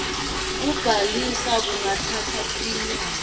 kubhalisa kungatsatsa tinyanga